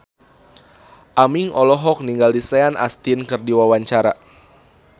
Aming olohok ningali Sean Astin keur diwawancara